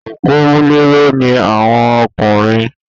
Òpómúléró ni àwọn ọkùnrin